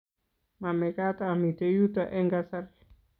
Mamekat amite yuto eng' kasari